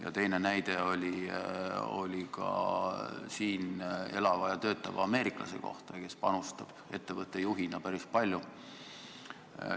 Ja teine näide oli ühe siin elava ja töötava ameeriklase kohta, kes panustab ettevõtte juhina päris palju.